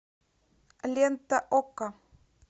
лента окко